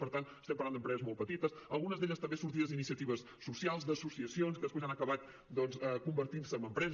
per tant estem parlant d’empreses molt petites algunes d’elles també sortides d’iniciatives socials d’associacions que després han acabat doncs convertint se en empreses